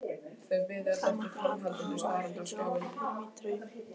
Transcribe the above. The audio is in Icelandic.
Það mátti halda að hann hefði fengið opinberun í draumi.